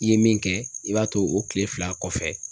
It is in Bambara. I ye min kɛ, i b'a to o kile fila kɔfɛ